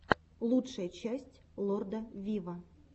лучшая часть лорда виво